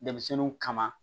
Denmisɛnninw kama